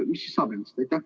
Mis neist saab?